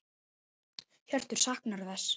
Hjörtur: Saknarðu þess?